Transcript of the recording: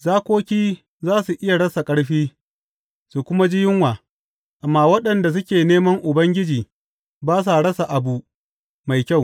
Zakoki za su iya rasa ƙarfi su kuma ji yunwa, amma waɗanda suke neman Ubangiji ba sa rasa abu mai kyau.